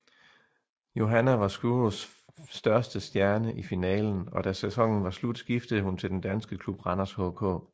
Johanna var Skurus største stjerne i finalen og da sæsonen var slut skiftede hun til den danske klub Randers HK